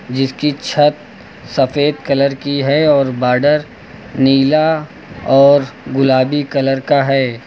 जिसकी छत सफेद कलर की है और बॉर्डर नीला और गुलाबी कलर का है।